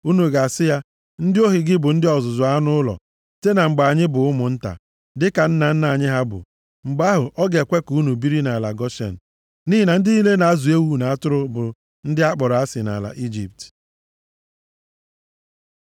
Unu ga-asị ya, ‘Ndị ohu gị bụ ndị ọzụzụ anụ ụlọ site na mgbe anyị bụ ụmụnta, dịka nna nna anyị ha bụ.’ Mgbe ahụ, ọ ga-ekwe ka unu biri nʼala Goshen. Nʼihi na ndị niile na-azụ ewu na atụrụ bụ ndị akpọrọ asị nʼala Ijipt.”